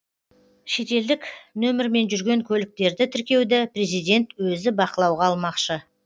шетелдік нөмірмен жүрген көліктерді тіркеуді президент өзі бақылауға алмақшы